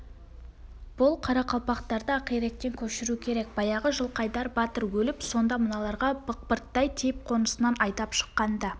бұл қарақалпақтарды ақиректен көшіру керек баяғы жылқайдар батыр өліп сонда мыналарға бықпырттай тиіп қонысынан айдап шыққанда